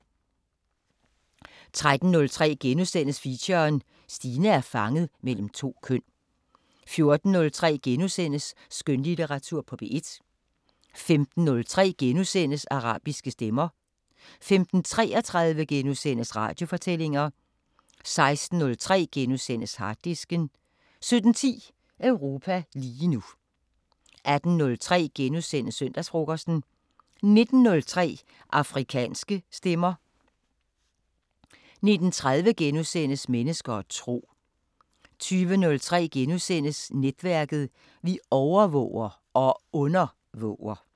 13:03: Feature: Stine er fanget mellem to køn * 14:03: Skønlitteratur på P1 * 15:03: Arabiske Stemmer * 15:33: Radiofortællinger * 16:03: Harddisken * 17:10: Europa lige nu 18:03: Søndagsfrokosten * 19:03: Afrikanske Stemmer 19:30: Mennesker og tro * 20:03: Netværket: Vi overvåger – og undervåger! *